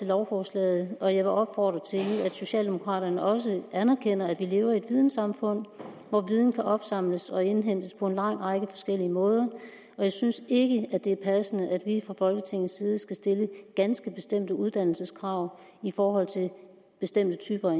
lovforslaget og jeg vil opfordre til at socialdemokraterne også anerkender at vi lever i et vidensamfund hvor viden kan opsamles og indhentes på en lang række forskellige måder jeg synes ikke det er passende at vi fra folketingets side skal stille ganske bestemte uddannelseskrav i forhold til bestemte typer